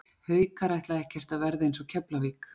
Haukar ætla ekkert að verða eins og Keflavík.